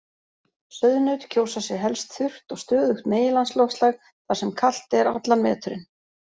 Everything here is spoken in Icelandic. Sauðnaut kjósa sér helst þurrt og stöðugt meginlandsloftslag þar sem kalt er allan veturinn.